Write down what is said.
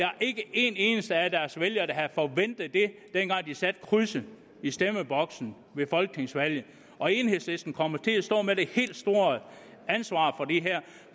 er ikke en eneste af deres vælgere der havde forventet det dengang de satte krydset i stemmeboksen ved folketingsvalget og enhedslisten kommer til at stå med det helt store ansvar